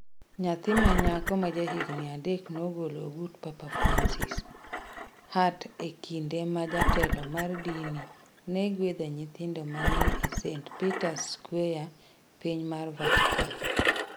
Nyathi ma nyako ma ja higni adek nogolo ng'ut Papa Francis. hat e kinde ma jatelo mar dini ne gwedho nyithindo ma ne ni e St. Peter's Square piny mar Vatican